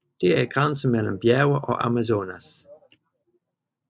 Det er grænsen mellem bjerge og Amazonas